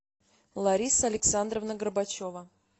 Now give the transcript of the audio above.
лариса александровна горбачева